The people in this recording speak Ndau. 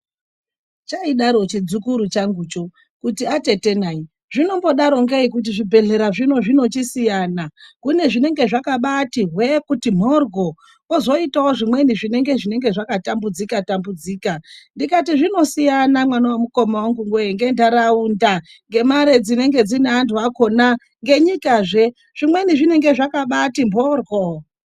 Chaidaro chimuzukuru changu kuti zvinombodaro ngei kuti zvibhedhlera zvinombosiyana kune zvinenge zvakati hwee kuti mboryo kozoitawo zvimweni zvinenge zvakatambudzika tambudzika ,ndikati zvinosiyanana mwana wamukoma wangu ngendaraunda ndemare dzinenge dzine vandu zve ngenyikazve zvimweni zvinenge zvakati mboryo.